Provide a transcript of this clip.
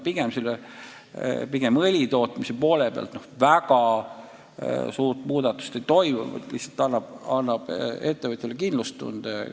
Pigem õlitootmises väga suurt muudatust ei toimu, see lihtsalt annab ettevõtjale kindlustunde.